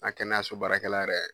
N ga kɛnɛyaso baarakɛla yɛrɛ